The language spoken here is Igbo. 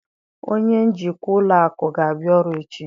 Onye njikwa ụlọ akụ ga-abịa ọrụ echi